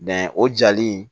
o jali in